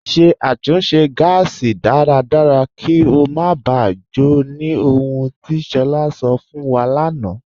Ṣẹ̀ àtúnṣe gásì dáradára kí o má bá jò, ní ọ̀hùn ti Shola sọ̀ fún wa lánà.